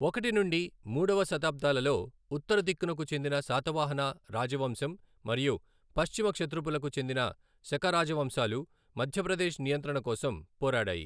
ఒకటి నుండి మూడవ శతాబ్దాలలో ఉత్తర దిక్కనుకు చెందిన శాతవాహన రాజవంశం మరియు పశ్చిమ క్షత్రపులకు చెందిన శక రాజవంశాలు మధ్య ప్రదేశ్ నియంత్రణ కోసం పోరాడాయి.